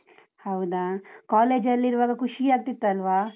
ಹೌದಾ? college ಅಲ್ಲಿರುವಾಗ ಖುಷಿ ಆಗ್ತಿತ್ತು ಅಲ್ವಾ?